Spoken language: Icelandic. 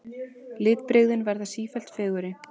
Litbrigðin verða sífellt fegurri.